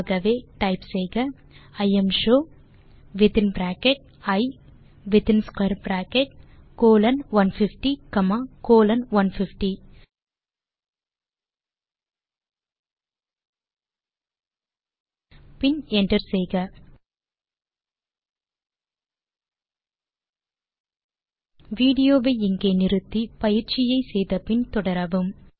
ஆகவே டைப் செய்க imshow within bracket I within square bracket colon 150 comma colon 150 பின் enter செய்க வீடியோ வை இங்கே நிறுத்தி பயிற்சியை செய்து முடித்து பின் தொடரவும்